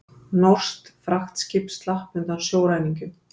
Norskt fraktskip slapp undan sjóræningjum